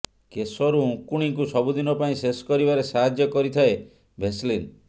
କେଶରୁ ଉଙ୍କୁଣୀକୁ ସବୁଦିନ ପାଇଁ ଶେଷ କରିବାରେ ସାହାଯ୍ୟ କରିଥାଏ ଭେସଲିନ୍